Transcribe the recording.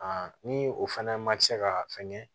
ni o fana ma kɛ ka fɛngɛ